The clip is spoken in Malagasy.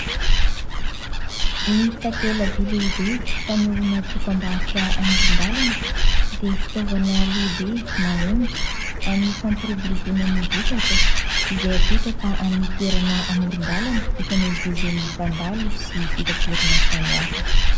Ny takela-by lehibe fanehoana dokam-barotra amoron-dalana dia fitaovana lehibe mahomby amin'ny fampiroboroboana ny vokatra izay apetraka amin'ny toerana amoron-dalana ifamezivezen'ny mpandalo sy fitaterana samihafa.